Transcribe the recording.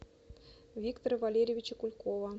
виктора валерьевича кулькова